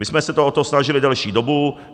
My jsme se o to snažili delší dobu.